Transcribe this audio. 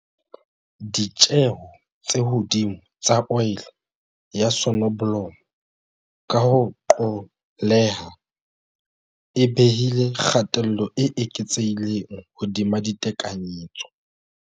Ditjeo tse hodimo tsa oli ya sonobolomo, ka ho qolleha, e behile kgatello e eketsehileng hodima ditekanyetso.